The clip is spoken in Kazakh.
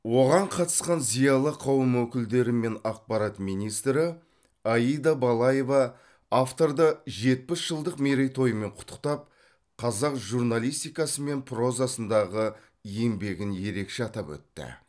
оған қатысқан зиялы қауым өкілдері мен ақпарат министрі аида балаева авторды жетпіс жылдық мерейтойымен құттықтап қазақ журналистикасы мен прозасындағы еңбегін ерекше атап өтті